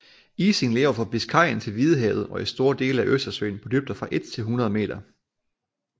Ising lever fra Biscayen til Hvidehavet og i store dele af Østersøen på dybder fra 1 til 100 meter